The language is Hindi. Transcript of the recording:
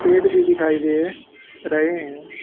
पेड़ भी दिखाई दे रहे हैं।